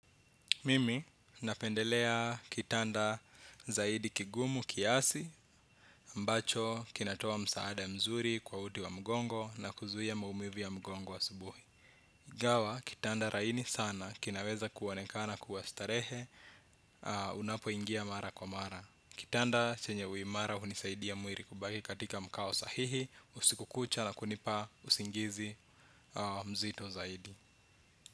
Mimi napendelea kitanda zaidi kigumu kiasi, ambacho kinatoa msaada mzuri kwa uti wa mgongo na kuzuia maumivu ya mgongo asubuhi. Ingawa, kitanda laini sana, kinaweza kuonekana kuwa starehe, unapoingia mara kwa mara. Kitanda chenye uimara, hunisaidia mwili kubaki katika mkao sahihi, usiku kucha na kunipa usingizi mzito zaidi.